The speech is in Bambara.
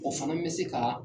O fana bɛ se ka